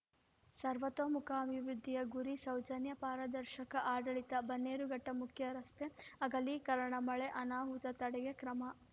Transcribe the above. ಸರ್ವತೋಮುಖ ಅಭಿವೃದ್ಧಿಯ ಗುರಿ ಸೌಜನ್ಯಾ ಪಾರದರ್ಶಕ ಆಡಳಿತ ಬನ್ನೇರುಘಟ್ಟಮುಖ್ಯರಸ್ತೆ ಅಗಲೀಕರಣ ಮಳೆ ಅನಾಹುತ ತಡೆಗೆ ಕ್ರಮ